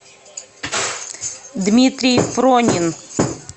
дмитрий пронин